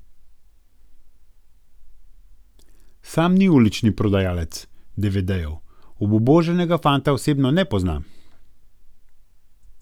Sam ni ulični prodajalec devedejev, obubožanega fanta osebno ne pozna.